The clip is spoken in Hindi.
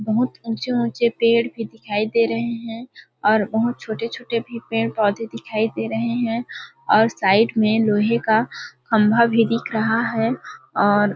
बहुत ऊंचे -ऊंचे पेड़ भी दिखाई दे रहे है और बहुत छोटे -छोटे भी पेड़ -पौधे भी दिखाई दे रहे है और साइड में लोहे का खम्भा भी दिखा रहा है और --